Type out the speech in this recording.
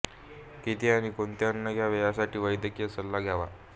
किती आणि कोणते अन्न घ्यावे यासाठी वैद्यकीय सल्ला घ्यावा